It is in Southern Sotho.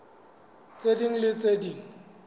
tse ding le tse ding